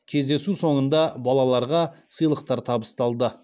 кездесу соңында балаларға сыйлықтар табысталды